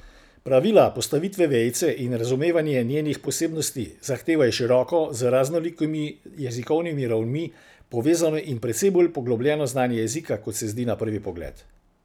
Pravila postavitve vejice in razumevanje njenih posebnosti zahtevajo široko, z raznolikimi jezikovnimi ravnmi povezano in precej bolj poglobljeno znanje jezika, kot se zdi na prvi pogled.